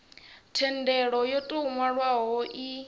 thendelo yo tou nwalwaho i